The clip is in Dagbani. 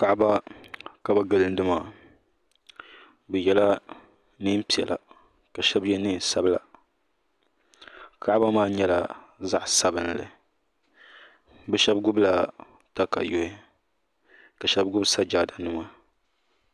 Kaba ka bi gilini maa bi yela nɛɛn piɛla ka shɛba ye nɛma sabila kaba maa nyɛla zaɣi sabinli bi shɛba takayuhi ka shɛba gbubi sajaada nima